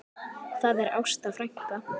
Það er Ásta frænka.